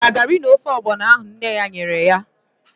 O richaara garị na ofe ọgbọnọ ahụ nne ya nyere ya?